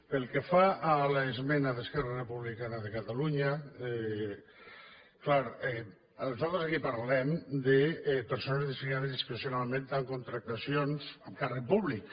pel que fa a l’esmena d’esquerra republicana de catalunya clar nosaltres aquí parlem de persones designades discrecionalment amb contractacions amb càrrec públic